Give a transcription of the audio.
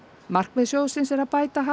markmið sjóðsins er að bæta hag